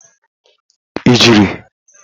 ijeri